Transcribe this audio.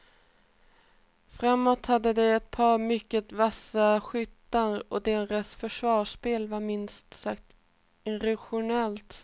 Framåt hade de ett par mycket vassa skyttar och deras försvarsspel var minst sagt irrationellt.